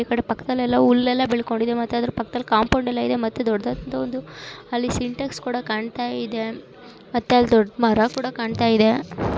ಇಕಡಿ ಪಕ್ಕದಲ್ಲೆಲ್ಲ ಉಲ್ಲೆಲ್ಲ ಬೆಳ್ಕೊಂಡಿದೆ ಮತ್ತ ಅದರ್ ಪಕ್ಕದಲ್ಲಿ ಕಾಂಪೌಂಡ್‌ ಎಲ್ಲಾ ಇದೆ ಮತ್ತೆ ದೊಡ್ದಾದಂತಹ ಒಂದು ಅಲ್ಲಿ ಸಿಂಟೆಕ್ಸ ಕೂಡ ಕಾನ್ತಾಯಿದೆ ಮತ್ತೆ ಅಲ್ಲ ದೊಡ್ಡ ಮರಕುಡ ಕಾಣ್ತಾ ಇದೆ .